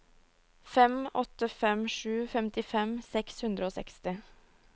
fem åtte fem sju femtifem seks hundre og seksti